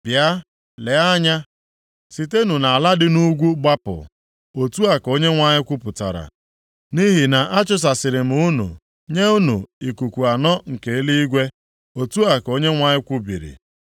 “Bịa, lee anya! Sitenụ nʼala dị nʼugwu gbapụ,” otu a ka Onyenwe anyị kwupụtara, “nʼihi na achụsasịrị m unu nye ikuku anọ nke eluigwe,” otu a ka Onyenwe anyị kwubiri.